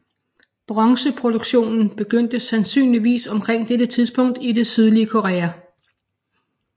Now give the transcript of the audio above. Bronzeproduktionen begyndte sandsynligvis omkring dette tidspunkt i det sydlige Korea